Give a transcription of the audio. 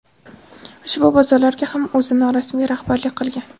ushbu bozorlarga ham o‘zi norasmiy rahbarlik qilgan.